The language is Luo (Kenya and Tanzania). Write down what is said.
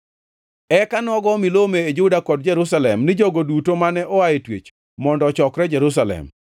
Eka nogo milome e Juda kod Jerusalem ni jogo duto mane oa e twech mondo ochokre Jerusalem.